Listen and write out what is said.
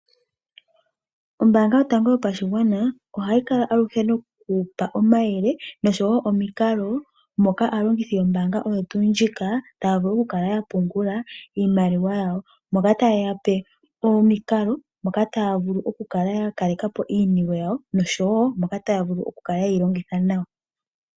Ombanga yotango yopashigwana ohayi kala aluhe noku gandja omayele osho wo omikalo, moka aalongithi yombanga oyo tuu ndjika taya vulu oku kala ya pungula iimaliwa yawo, moka ta yeyape omikalo, moka taya vulu ya kalekapo iiniwe yawo nosho wo moka taya vulu oku kala yeyi longitha nawa.